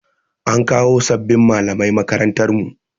An kawo sabbin malamai makarantar mu.